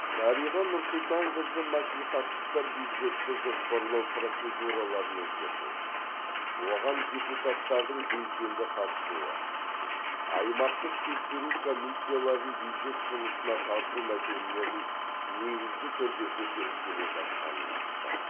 дариға нұрсұлтанқызы мәслихаттықтар бюджетті жоспарлау процедураларын өзгерту оған депутаттардың белсенді қатысуы аймақтық тексеру комиссияларын бюджет жұмысына тарту мәселелерін негізді түрде көтеріп келе жатқанын айтты